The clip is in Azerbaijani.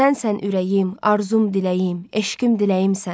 Sənsən ürəyim, arzum, diləyim, eşqim, diləyimsən.